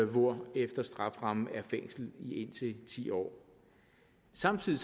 hvorefter strafferammen er fængsel i indtil ti år samtidig